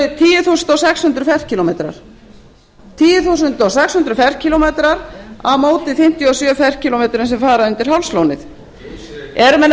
er tíu þúsund sex hundruð ferkílómetrar á móti fimmtíu og sjö ferkílómetrum sem fara undir hálslónið eru menn